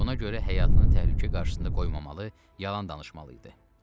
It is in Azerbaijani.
Buna görə həyatını təhlükə qarşısında qoymamalı, yalan danışmalı idi.